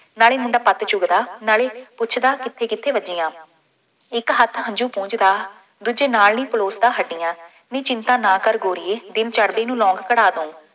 ਨਾਲੇ ਮੁੰਡਾ ਪੱਤ ਚੁੱਗਦਾ, ਨਾਲੇ ਪੁੱਛਦਾ ਕਿੱਥੇ ਕਿੱਥੇ ਵੱਜੀਆਂ, ਇੱਕ ਹੱਥ ਹੰਝੂ ਪੂੰਝਦਾ, ਦੂਜੇ ਨਾਲ ਨੀ ਪਲੋਸਦਾ ਹੱਡੀਆਂ, ਨੀ ਚਿੰਤਾ ਨਾ ਕਰ ਗੋਰੀਏ, ਦਿਨ ਚੜ੍ਹਦੇ ਨੂੰ, ਲੌਂਗ ਕਢਾ ਦੂੰ,